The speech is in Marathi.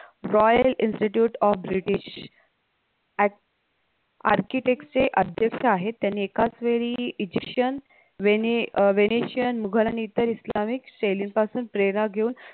royal institute of british अक architect चे अध्यक्ष आहे त्यांनी एकाच वेळी egyptian वेने अह venetian मुघल आणि इतर इस्लामिक शैलींपासून प्रेरणा घेऊन